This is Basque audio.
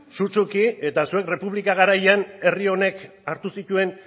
sutsuki eta zuek errepublika garaian herri honek hartu zituen